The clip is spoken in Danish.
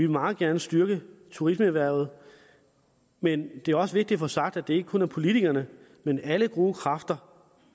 meget gerne styrke turismeerhvervet men det er også vigtigt at få sagt at det ikke kun er politikerne men alle gode kræfter